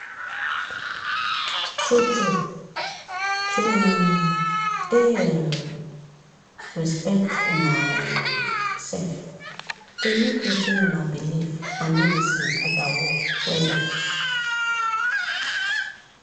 true trueto um dey um respect una um sef dey make wetin una believe and medicine gather work wella.